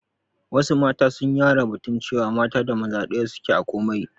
Wassu mata sun yara da batun cewa mata da maza ɗaya suke a komai